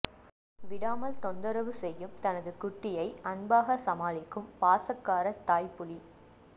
விடாமல் தொந்தரவு செய்யும் தனது குட்டியை அன்பாக சமாளிக்கும் பாசக்கார தாய் புலி